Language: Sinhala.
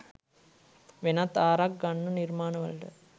වෙනත් ආරක් ගන්න නිර්මාණවලට